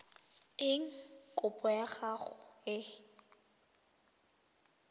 eng kopo ya gago e